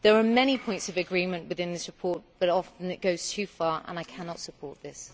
There are many points of agreement within this report but often it goes too far and I cannot support this.